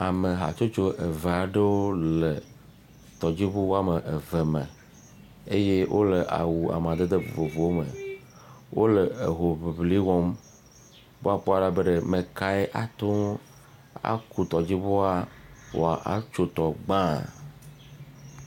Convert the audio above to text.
Ame hatsotso eve aɖewo le tɔdziŋu ame eve me eye wole awu amadede vovovowo me. Wole hoŋliŋli wɔm be woakpɔ ɖa be ɖe ame kae ate ŋu aku tɔdziŋua woatso tɔ gbã.